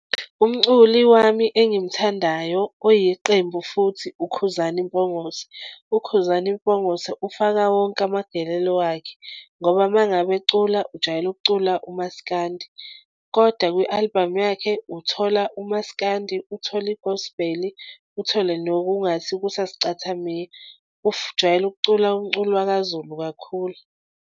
Umculi wami engimthandayo oyiqembu futhi uKhuzani Mpongose. UKhuzani Mpongose ufaka wonke amagelelo wakhe ngoba uma ngabe ecula, ujwayele ukucula umasikandi kodwa kwi-album yakhe uthola umasikandi uthole i-gospel uthole nokungathi kusasicathamiya. Ujwayele ukucula umculo wakaZulu kakhulu.